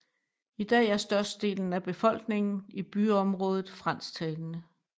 I dag er størstedelen af befolkningen i byområdet fransktalende